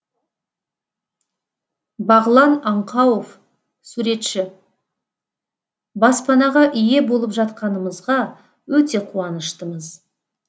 бағлан аңқауов суретші баспанаға ие болып жатқанымызға өте қуаныштымыз